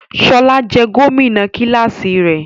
Ṣọla jẹ gomina kilasi rẹ.